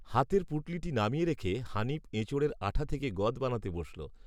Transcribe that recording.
হাতের পুঁটুলিটি নামিয়ে রেখে, হানিফ, এঁচোড়ের আঁঠা থেকে গঁদ বানাতে বসল